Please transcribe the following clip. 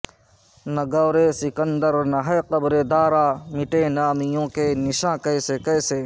نہ گور سکندر نہ ہے قبر دارا مٹے نامیوں کے نشاں کیسے کیسے